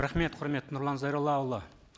рахмет құрметті нұрлан зайроллаұлы